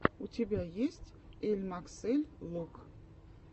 у тебя есть эльмаксэль лук